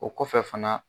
O kɔfɛ fana